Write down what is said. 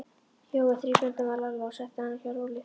Jói þreif Bröndu af Lalla og setti hana hjá Rolu.